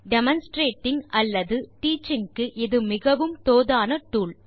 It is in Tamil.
டெமான்ஸ்ட்ரேட்டிங் அல்லது டீச்சிங் க்கு இது மிகவும் தோதான டூல்